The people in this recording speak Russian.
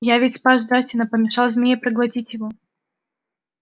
я ведь спас джастина помешал змее проглотить его